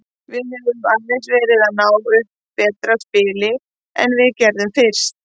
Við höfum aðeins verið að ná upp betra spili en við gerðum fyrst.